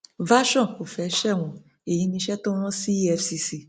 version]cs] kò fẹẹ sẹwọn èyí níṣẹ tó rán sí efcc